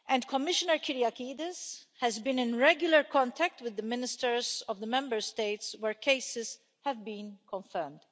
Commissioner Kyriakides has been in regular contact with the Ministers of the Member States where cases have been confirmed.